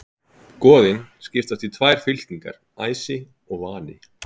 Goðin skiptast í tvær fylkingar, æsi og vani.